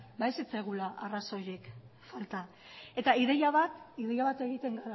ez zitzaigula arrazoirik falta eta ideia bat egiten